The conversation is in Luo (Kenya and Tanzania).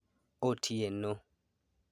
Otieno